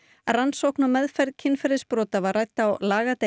rannsókn og meðferð kynferðisbrota var rædd á